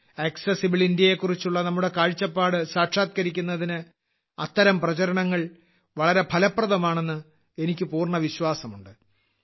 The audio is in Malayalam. ആക്സസിബിൾ ഇന്ത്യയെക്കുറിച്ചുള്ള നമ്മുടെ കാഴ്ചപ്പാട് സാക്ഷാത്കരിക്കുന്നതിന് അത്തരം പ്രചാരണങ്ങൾ വളരെ ഫലപ്രദമാണെന്ന് എനിക്ക് പൂർണ്ണ വിശ്വാസമുണ്ട്